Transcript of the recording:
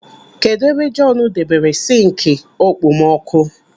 Kedụ ebe Jọọnu debere sinki okpomọkụ?